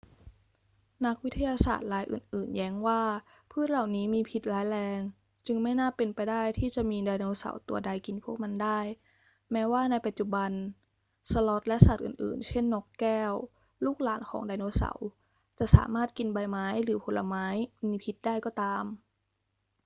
นักวิทยาศาสตร์รายอื่น ๆ แย้งว่าพืชเหล่านี้มีพิษร้ายแรง จึงไม่น่าเป็นไปได้ที่จะมีไดโนเสาร์ตัวใดกินพวกมันได้ แม้ว่าในปัจจุบันสลอธและสัตว์อื่น ๆ เช่น นกแก้ว ลูกหลานของไดโนเสาร์ จะสามารถกินใบไม้หรือผลไม้มีพิษได้ก็ตาม